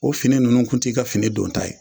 O fini ninnu kun t'i ka fini don ta ye.